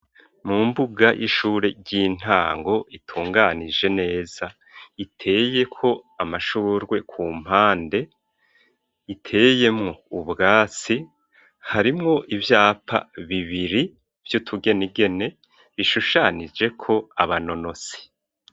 Mu mbuga y'ishure ry'intango itunganije neza iteye ko amashurwe ku mpande iteyemwo ubwatsi harimwo ivyapa bibiri vyo tugenigene bishushanije ko aba nonosi.